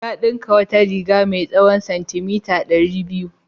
Ya ɗinka wata riga mai tsawon santimita ɗari biyu.